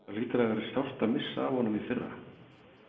Það hlýtur að hafa verið sárt að missa af honum í fyrra?